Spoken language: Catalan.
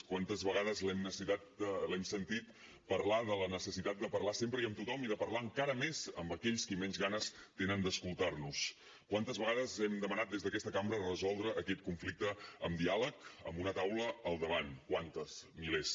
quantes vegades l’hem sentit parlar de la necessitat de parlar sempre i amb tothom i de parlar encara més amb aquells qui menys ganes tenen d’escoltar nos quantes vegades hem demanat des d’aquesta cambra resoldre aquest conflicte amb diàleg amb una taula al davant quantes milers